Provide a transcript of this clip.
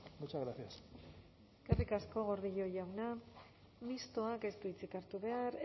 muchas gracias eskerrik asko gordillo jauna mistoak ez du hitzik hartu behar